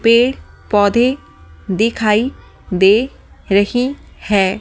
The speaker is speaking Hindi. पेड़-पौधे दिखाई दे रही है।